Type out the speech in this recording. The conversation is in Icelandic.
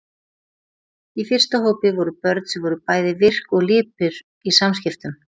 Í fyrsta hópi voru börn sem voru bæði virk og lipur í samskiptum.